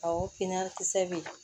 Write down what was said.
Awɔ kinna kisɛ bɛ yen